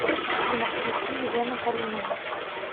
афина включи елену калинину